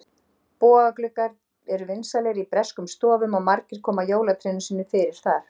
Bogagluggar eru vinsælir í breskum stofum og margir koma jólatrénu sínu fyrir þar.